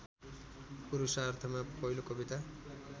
पुरुषार्थमा पहिलो कविता